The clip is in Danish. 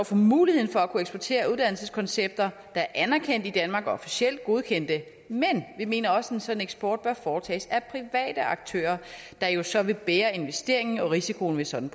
for muligheden for at kunne eksportere uddannelseskoncepter der er anerkendt i danmark og officielt godkendte men vi mener også at en sådan eksport bør foretages af private aktører der jo så vil bære investeringen og risikoen ved sådan